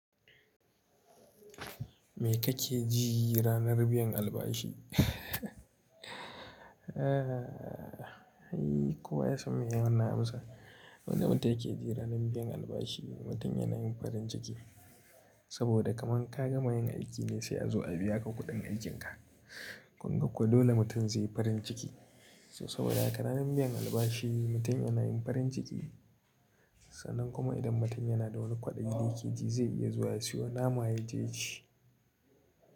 Me kake ji ranar biyan albashi? Aaa, hey, kowa ya san me yana amsa. Wani mutum yake ji ranar biyan albashi mutum yana yin farin ciki. Saboda kamar ka gama yin aiki ne sai a zo a biya ka kuɗin aikinka. Gobe kuwa dole mutum zai yi farin ciki. To saboda haka ranar biyan albashi mutum yana yin farin ciki. Sannan kuma idan mutum yana da wani kwaɗayi da yake ji zai iya zuwa ya siyo naman ya je ci.